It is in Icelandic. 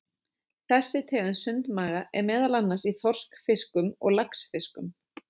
Þessi tegund sundmaga er meðal annars í þorskfiskum og laxfiskum.